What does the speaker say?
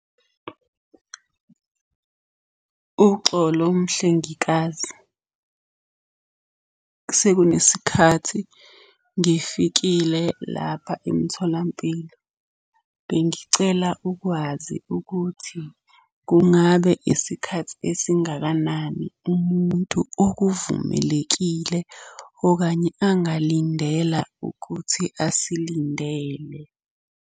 Uxolo mhlengikazi, sekunesikhathi ngifikile lapha emtholampilo. Bengicela ukwazi ukuthi kungabe isikhathi esingakanani umuntu okuvumelekile okanye angalindela ukuthi asilindele?